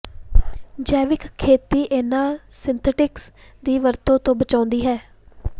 ਜੈਵਿਕ ਖੇਤੀ ਇਹਨਾਂ ਸਿੰਥੈਟਿਕਸ ਦੀ ਵਰਤੋਂ ਤੋਂ ਬਚਾਉਂਦੀ ਹੈ